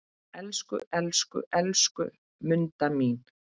Elsku, elsku, elsku Munda mín.